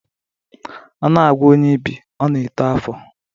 A na-agwọ onye ibi, ọ na-eto afọ.